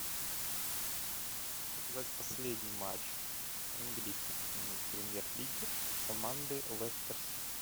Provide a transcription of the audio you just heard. показать последний матч английской премьер лиги команды лестер сити